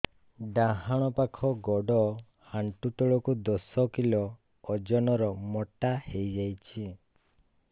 ଡାହାଣ ପାଖ ଗୋଡ଼ ଆଣ୍ଠୁ ତଳକୁ ଦଶ କିଲ ଓଜନ ର ମୋଟା ହେଇଯାଇଛି